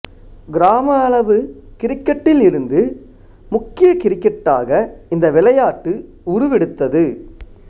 கிராம அளவு கிரிக்கெட்டில் இருந்து முக்கிய கிரிக்கெட்டாக இந்த விளையாட்டு உருவெடுத்தது